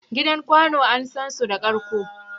Gidan kwanu an san su da karƙo.